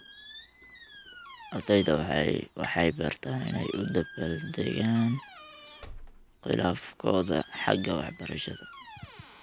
Ardayda waxay bartaan inay u dabbaaldegaan khilaafkooda xagga waxbarashada.